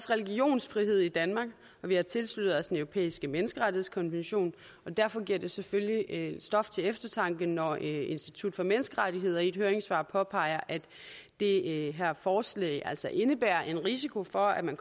religionsfrihed i danmark og vi har tilsluttet os den europæiske menneskerettighedskonvention og derfor giver det selvfølgelig stof til eftertanke når institut for menneskerettigheder i et høringssvar påpeger at det her forslag altså indebærer en risiko for at man